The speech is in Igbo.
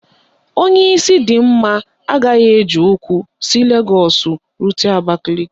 Onye isi dị mma agaghị eji ụkwụ si Legọọsụ rute Abakaliki